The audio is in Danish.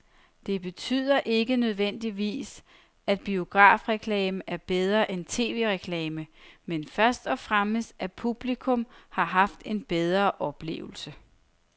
Det betyder ikke nødvendigvis, at biografreklamen er bedre end tv-reklamen, men først og fremmest at publikum har haft en bedre oplevelse.